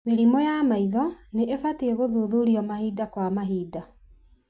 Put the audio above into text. Mĩrimũ ya maitho nĩ ibatie gũthuthurio mahinda kwa mahinda.